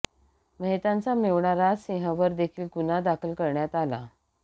मेहतांचा मेव्हणा राज सिंह वर देखील गुन्हा दाखल करण्यात आला